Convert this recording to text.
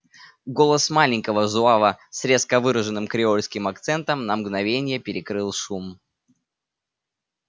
голос маленького зуава с резко выраженным креольским акцентом на мгновение перекрыл шум